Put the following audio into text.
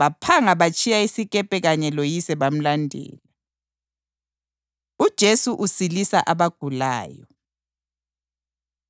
baphanga batshiya isikepe kanye loyise bamlandela. UJesu Usilisa Abagulayo